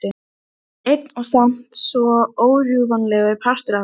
Einn og samt svo órjúfanlegur partur af henni.